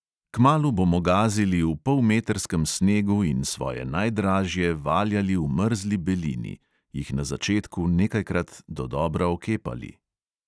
Kmalu bomo gazili v polmetrskem snegu in svoje najdražje valjali v mrzli belini, jih na začetku nekajkrat dodobra okepali ...